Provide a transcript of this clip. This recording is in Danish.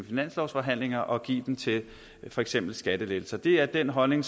finanslovsforhandlingerne og give dem til for eksempel skattelettelser det er den holdning